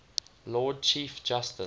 lord chief justice